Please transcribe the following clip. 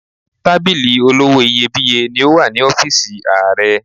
Tábìlì olówó iyebíye ni ó wà ní ọ́fíìsì Ààrẹ.